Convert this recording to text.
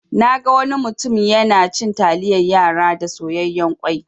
Naga wani mutum yana cin taliyan yara da soyayyan kwai.